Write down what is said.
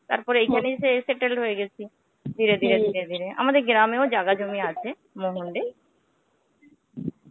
তারপরে এখানে এসে এসে settle হয়ে গেছি. ধীরে ধীরে আমাদের গ্রামেও জায়গা জমি আছে মহন্ড এ.